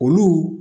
Olu